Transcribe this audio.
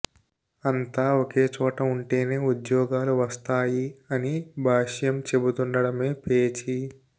అంతా ఒకేచోట ఉంటేనే ఉద్యోగాలు వస్తాయి అని భాష్యం చెబుతుండడమే పేచీ